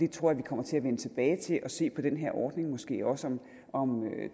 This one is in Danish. tror vi kommer til at vende tilbage til at se på den her ordning måske også om